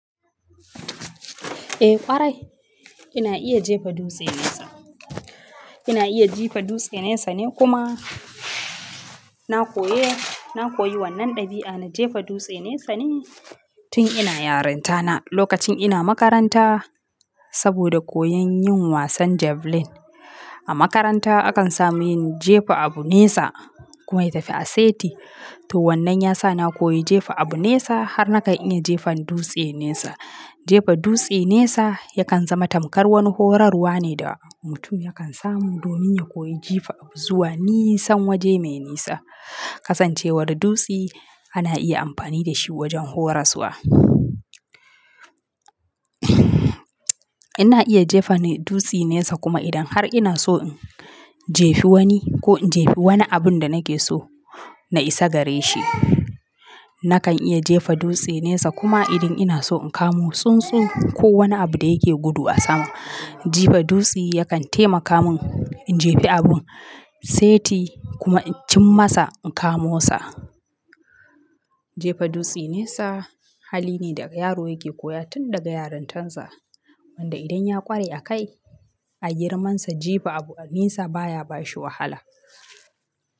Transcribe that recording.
Eh ƙwarai ina iya jefa dutse nesa. Ina iya jefa dutse nesa ne kuma na koyi, na koyi wannan ɗabi'a na jefa dutse nesa ne tun ina yarinta na lokacin ina makaranta saboda koyan yin wasan javelin. A makaranta akan samu yin jefa abu nesa kuma ya tafi aseti. To wannan ya sa na koyi jefa abu nesa har na kan iya jefa dutse nesa. Jefa dutse nesa yakan zama tamkar wani horarwa ne da mutum yakan samu domin ya koyi jifa abu zuwa nisan waje mai nisa. Kasancewar dutsi ana iya amfani da shi wajen horaswa. Ina iya jefa dutse nesa kuma idan har ina so in jefa wani ko in jefa wani abun da nake so na isa gare shi, nakan iya jefa dutse nesa kuma idan ina so in kamo tsuntsu ko wani abu da yake gudu a sama, jefa dutse yakan taimaka mun in jefa abun seti kuma in cim masa in kamo sa. Jefa dutse nesa hali ne da yaro yake koya tun daga yarintar sa wanda idan ya ƙware a kai, har girmansa jefa abu nesa baya bashi wahala.